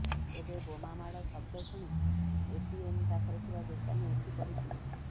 ତେବେ ବୋମା ମାଡ଼ ଶବ୍ଦ ଶୁଣି ଏଟିଏମ୍ ପାଖରେ ଥିବା ଦୋକାନୀ ଉଠି ପଡ଼ିଥିଲେ